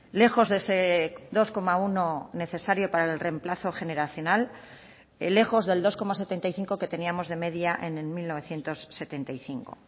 lejos de ese dos coma uno necesario para el reemplazo generacional lejos del dos coma setenta y cinco que teníamos de media en mil novecientos setenta y cinco